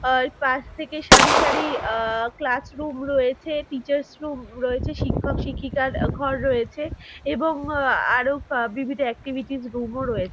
আর পাশ থেকে সারি সারি আ - ক্লাস রুম রয়েছে টিচার্স রুম রয়েছে শিক্ষক-শিক্ষিকার ঘর রয়েছে এবং আরো বিভিন্ন এক্টিভিটিস রুম ও রয়ে--